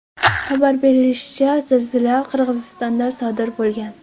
Xabar berilishicha, zilzila Qirg‘izistonda sodir bo‘lgan.